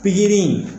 Pikiri